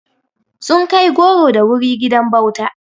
Sun kai goro da wuri gidan bauta.